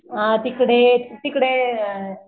अ तिकडे तिकडे